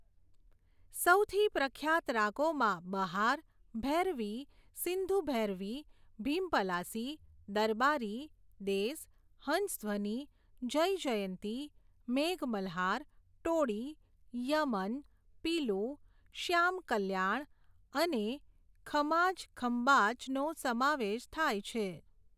સૌથી પ્રખ્યાત રાગોમાં બહાર, ભૈરવી, સિંધુભૈરવી, ભીમપલાસી, દરબારી, દેસ, હંસધ્વની, જયજયંતી, મેઘમલ્હાર, ટોડી, યમન, પીલુ, શ્યામકલ્યાણ, અને ખમાજ ખંબાજનો સમાવેશ થાય છે.